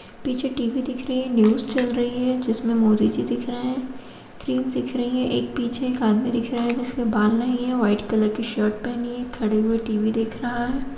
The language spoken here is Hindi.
पीछे टी_वी दिख रही है न्यूज़ चल रही है जिसमें मोदी जी दिख रहे हैं क्रीम दिख रही है पीछे एक आदमी दिख रहा है जिसके बाल नहीं है व्हाइट कलर की शर्ट पहनी है खड़े हुए टी_वी देख रहा है।